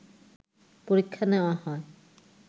পরীক্ষা নেওয়া হয়